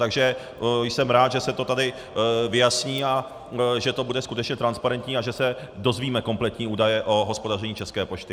Takže jsem rád, že se to tady vyjasní a že to bude skutečně transparentní a že se dozvíme kompletní údaje o hospodaření České pošty.